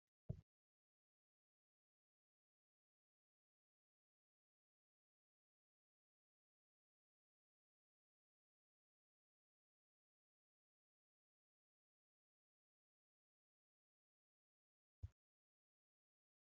Suurri asirratti argaa jirru Kun suura xiinxalaa siyaasaa Jawaar Mohaammed. Jawaar Mohaammed harkatti sagale guddiftuu qabatee haasaa taasisa jira. Jawaar Mohaammed nama qabsoo oromoo keessatti adda dureen yaadatamuufi yeroo ammaas mootummaa Itiyoophiyaa mormaa jiruudha.